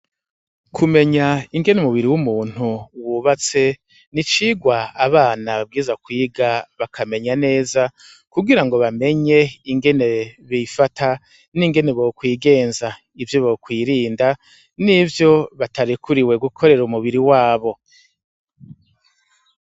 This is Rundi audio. Kumenya ingene umubiri w'umuntu wubatse ni icigwa abana babwiriza kwiga bakamenya neza kugirango bamenye ingene bifata n'ingene bokwigenza ivyo bokwirinda n'ivyo batarekuriwe gukorera umubiri wabo.